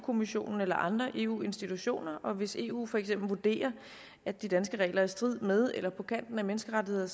kommissionen eller andre eu institutioner og hvis eu for eksempel vurderer at de danske regler er i strid med eller på kanten af menneskerettighederne